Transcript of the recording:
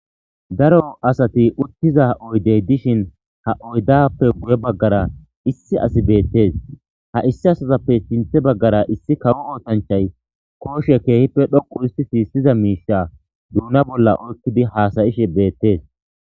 Daro asati uttiza oydey dishin ha oydappe guye baggara issi asi beettees ha issi asazappe sinthe baggara issi kawo ootanchay kooshe keehippe dhoqu urhistisi isyiza miisha duuna bolla oykkidi haasayishe beettees.